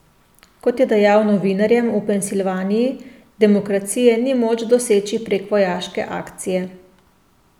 Kot je dejal novinarjem v Pensilvaniji, demokracije ni moč doseči prek vojaške akcije.